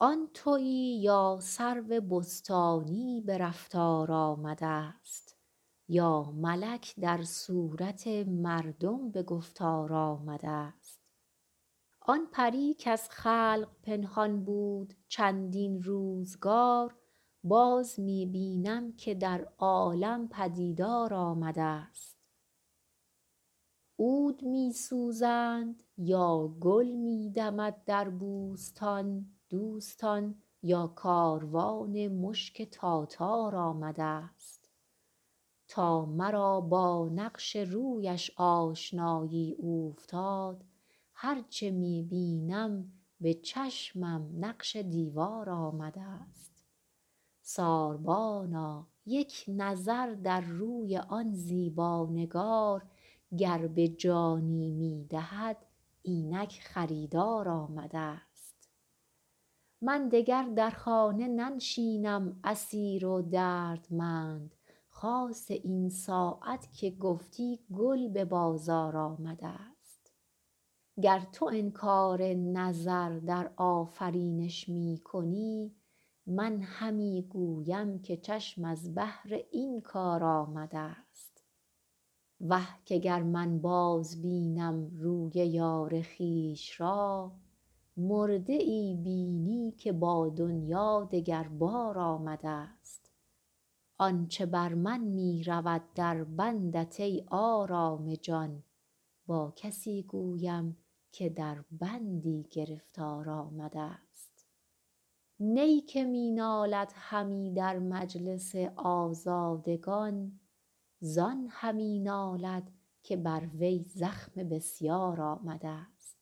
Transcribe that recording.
آن تویی یا سرو بستانی به رفتار آمده ست یا ملک در صورت مردم به گفتار آمده ست آن پری کز خلق پنهان بود چندین روزگار باز می بینم که در عالم پدیدار آمده ست عود می سوزند یا گل می دمد در بوستان دوستان یا کاروان مشک تاتار آمده ست تا مرا با نقش رویش آشنایی اوفتاد هر چه می بینم به چشمم نقش دیوار آمده ست ساربانا یک نظر در روی آن زیبا نگار گر به جانی می دهد اینک خریدار آمده ست من دگر در خانه ننشینم اسیر و دردمند خاصه این ساعت که گفتی گل به بازار آمده ست گر تو انکار نظر در آفرینش می کنی من همی گویم که چشم از بهر این کار آمده ست وه که گر من بازبینم روی یار خویش را مرده ای بینی که با دنیا دگر بار آمده ست آن چه بر من می رود در بندت ای آرام جان با کسی گویم که در بندی گرفتار آمده ست نی که می نالد همی در مجلس آزادگان زان همی نالد که بر وی زخم بسیار آمده ست